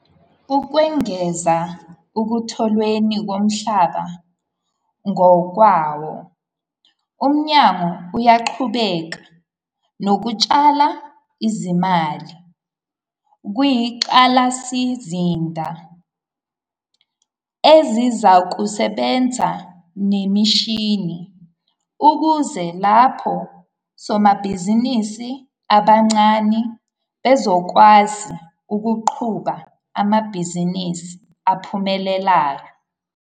Ukwengeza ekutholweni komhlaba ngokwawo, uMnyango uyaqhubeka nokutshala izimali kwingqalasizinda, izinsizakusebenza nemishini ukuze labo somabhizinisi abancane bezokwazi ukuqhuba amabhizinisi aphumelelayo.